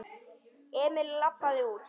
Emil labbaði út.